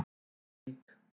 Krýsuvík